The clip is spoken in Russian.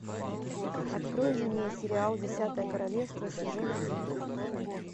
открой мне сериал десятое королевство сезон один